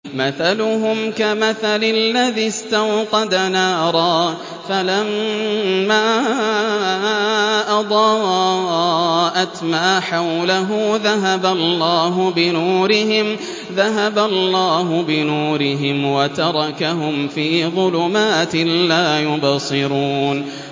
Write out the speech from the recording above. مَثَلُهُمْ كَمَثَلِ الَّذِي اسْتَوْقَدَ نَارًا فَلَمَّا أَضَاءَتْ مَا حَوْلَهُ ذَهَبَ اللَّهُ بِنُورِهِمْ وَتَرَكَهُمْ فِي ظُلُمَاتٍ لَّا يُبْصِرُونَ